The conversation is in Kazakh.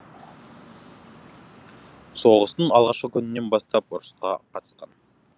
соғыстың алғашқы күнінен бастап ұрысқа қатысқан